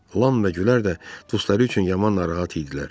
Ram və Gülər də dostları üçün yaman narahat idilər.